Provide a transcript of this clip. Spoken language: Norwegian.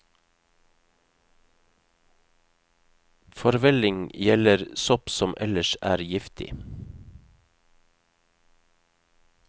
Forvelling gjelder sopp som ellers er giftig.